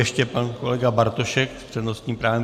Ještě pan kolega Bartošek s přednostním právem.